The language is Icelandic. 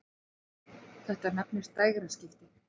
Þetta nefnist dægraskipti.